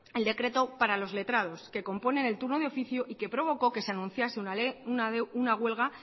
el decreto para los letrados que componen el turno de oficio y que provocó que anunciase una huelga